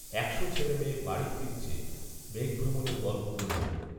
একশো ছেলেমেয়ে বাড়ি ফিরছে মেঘভ্রমণের গল্প বলবে বলে